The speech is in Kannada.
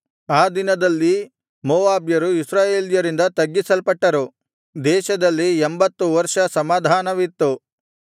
ಆ ದಿನದಲ್ಲಿ ಮೋವಾಬ್ಯರು ಇಸ್ರಾಯೇಲ್ಯರಿಂದ ತಗ್ಗಿಸಲ್ಪಟ್ಟರು ದೇಶದಲ್ಲಿ ಎಂಭತ್ತು ವರ್ಷ ಸಮಾಧಾನವಿತ್ತು